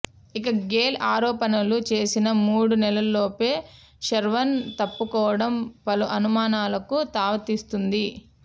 ఇక గేల్ ఆరోపణలు చేసిన మూడు నెలల్లోపే శర్వాన్ తప్పుకోవడం పలు అనుమానాలకు తావిస్తోంది